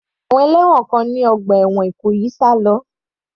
Àwọn ẹlẹ́wọ̀n kan ní ọgbà ẹ̀wọ̀n Ìkòyí sá lọ.